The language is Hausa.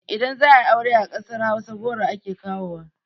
Idan za ayi aure a ƙasar hausa goro ake kawowa